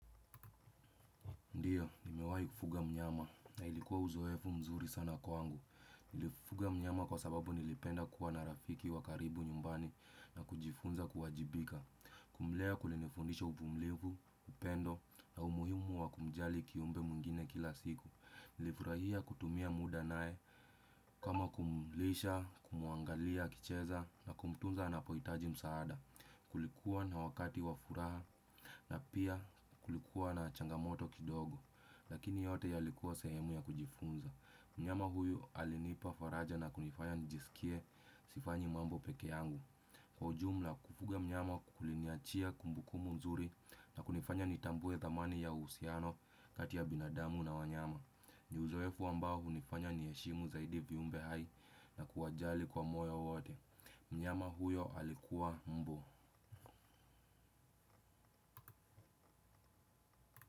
Ndiyo, nimewahi kufuga mnyama na ilikuwa uzoefu mzuri sana kwangu. Nilifuga mnyama kwa sababu nilipenda kuwa na rafiki wa karibu nyumbani na kujifunza kuwajibika. Kumlea kulinifundisha uvumilivu, upendo na umuhimu wa kumjali kiumbe mwingine kila siku. Nilifurahia kutumia muda naye kama kumlisha, kumuangalia, akicheza na kumtunza anapohitaji msaada. Kulikuwa na wakati wa furaha na pia kulikuwa na changamoto kidogo. Lakini yote yalikuwa sehemu ya kujifunza. Mnyama huyu alinipa faraja na kunifanya nijisikie sifanyi mambo peke yangu. Kwa ujumla kufuga mnyama kuliniachia kumbukumbu nzuri na kunifanya nitambue thamani ya uhusiano kati ya binadamu na wanyama. Ni uzoefu ambao hunifanya niheshimu zaidi viumbe hai na kuwajali kwa moyo wote. Mnyama huyo alikuwa mbwa.